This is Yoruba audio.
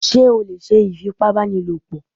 Ṣé o lè ṣe ìfipábánilòpọ̀?